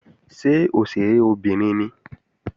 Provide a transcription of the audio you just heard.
Ṣé òṣèré obìnrin ni?